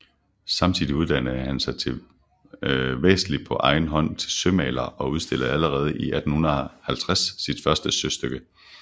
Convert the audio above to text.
Samtidig uddannede han sig væsentlig på egen hånd til sømaler og udstillede allerede 1850 sit første søstykke